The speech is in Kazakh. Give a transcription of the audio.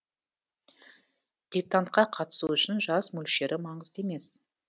диктантқа қатысу үшін жас мөлшері маңызды емес